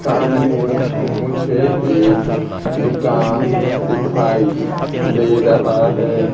सामने मुझे एक दुकान दिखाई दे रहा है।